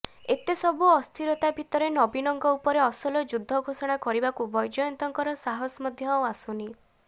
ଏତେ ସବୁ ଅସ୍ଥିରତା ଭିତରେ ନବୀନଙ୍କ ଉପରେ ଅସଲ ଯୁଦ୍ଧ ଘୋଷଣା କରିବାକୁ ବୈଜୟନ୍ତଙ୍କର ସାହସ ମଧ୍ୟ ଆସୁନି